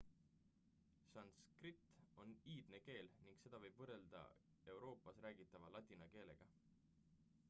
sanskrit on iidne keel ning seda võib võrrelda euroopas räägitava ladina keelega